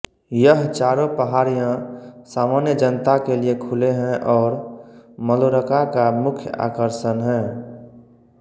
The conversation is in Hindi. यह चारों पहाड़ियाँ सामान्य जनता के लिए खुले हैं और मलोरका का मुख्य आकर्षण हैं